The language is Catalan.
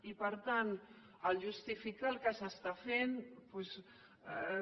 i per tant justificar el que s’està fent doncs